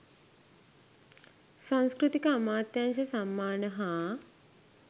සංස්කෘතික අමාත්‍යාංශ සම්මාන හා